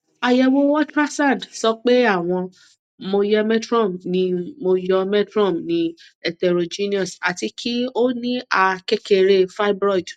ayewo ultrasound sọ pe awọn myometrium ni myometrium ni heterogeneous ati ki o ni a kekere fibroid